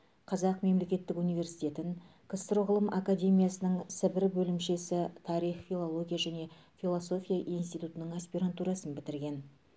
қазақ мемлекеттік университетін ксро ғылым академиясының сібір бөлімшесі тарих филология және философия институтының аспирантурасын бітірген